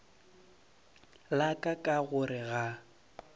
la ka ka gore ga